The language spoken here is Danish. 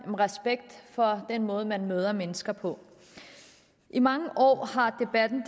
respekt for den måde man møder mennesker på i mange år har debatten